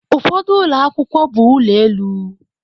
Ụfọdụ ụlọ akwụkwọ bụ ụlọ elu